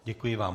Děkuji vám.